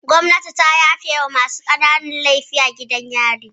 Gwamnati ta yafe wa masu ƙananan laifin gidan yari